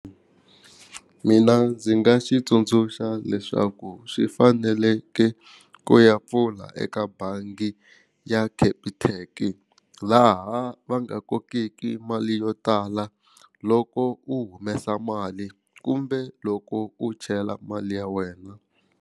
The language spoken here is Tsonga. Mina ndzi nga xi tsundzuxa leswaku swi faneleke ku ya pfula eka bangi ya Capitec laha va nga kokeki mali yo tala loko u humesa mali kumbe loko u chela mali ya wena.